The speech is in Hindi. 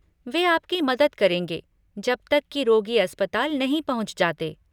वे आपकी मदद करेंगे जब तक कि रोगी अस्पताल नहीं पहुँच जाते।